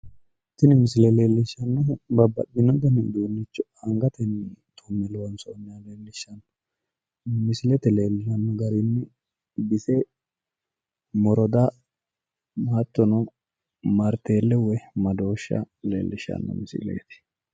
tini misile leellishshannohu babbaxino dani uduunnicho angatenni tumme loonsoonniha leellishshanno misilete leellanno garinni moroda hattono marteelle woyi madoosha leellishshanno misileeti.